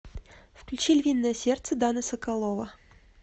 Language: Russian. включи львиное сердце дана соколова